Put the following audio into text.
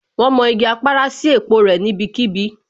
Wón mọ igi Apara sí òpó rẹ̀ níbí kíbi